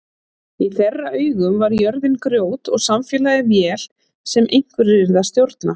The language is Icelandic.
Í þeirra augum var jörðin grjót og samfélagið vél sem einhverjir yrðu að stjórna.